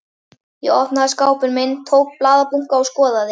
Ég opnaði skápinn minn, tók upp blaðabunka og skoðaði.